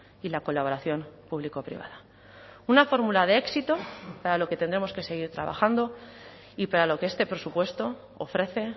y la colaboración público privada una fórmula de éxito para lo que tendremos que seguir trabajando y para lo que este presupuesto ofrece